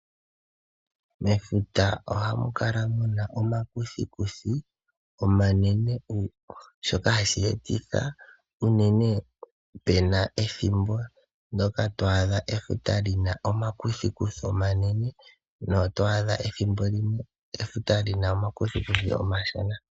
Mefuta ohamu kala muna omakuthikuthi omanene shoka hashi etitha unene pena ethimbo twaadha efuta lina omakuthikuthi omanene, nethimbo limwe otwaadha lina omakuthikuthi omashona.